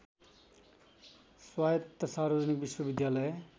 स्वायत्त सार्वजनिक विश्वविद्यालय